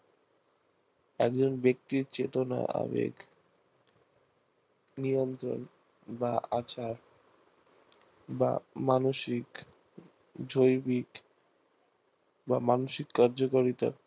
একজন ব্যাক্তির চেতনা আবেগ নিয়ন্ত্রণ বা আচার বা মানসিক জৈবিক বা মানসিক কার্যকারিতা